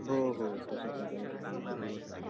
हो हो तशी प्रकारे सुद्धा बनवता Unclear